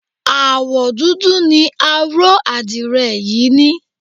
Àwọ̀ dúdú ni aró àdirẹ̀ yìí ní.